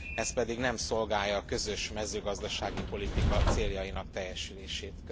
Ez pedig nem szolgálja a közös mezőgazdasági politika céljainak teljesülését.